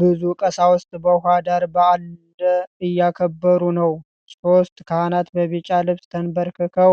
ብዙ ቀሳውስት በውኃ ዳር በዓል እያከበሩ ነው። ሦስት ካህናት በቢጫ ልብስ ተንበርክከው